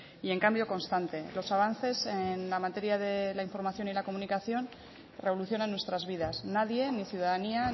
y en cambio constante los avances en la materia de la información y la comunicación revolucionan nuestras vidas nadie ni ciudadanía